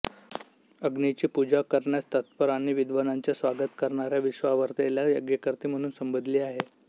अग्नीची पूजा करण्यास तत्पर आणि विद्वानांचे स्वागत करणाऱ्या विश्वावरेला यज्ञकर्ती म्हणून संबोधिले आहे